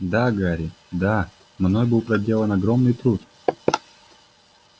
да гарри да мной был проделан огромный труд